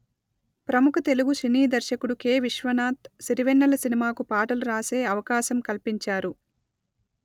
ప్రముఖ తెలుగు సినీ దర్శకుడు కె విశ్వనాథ్ సిరివెన్నెల సినిమాకు పాటలు రాసే అవకాశం కల్పించారు